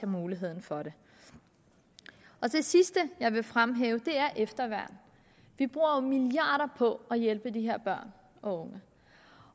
mulighed for det det sidste jeg vil fremhæve er efterværn vi bruger jo milliarder på at hjælpe de her børn og unge